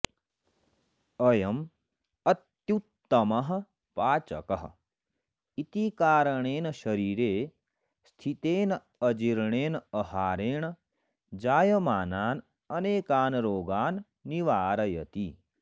अयं अत्युत्तमः पाचकः इति कारणेन शरीरे स्थितेन अजीर्णेन अहारेण जायमानान् अनेकान् रोगान् निवारयति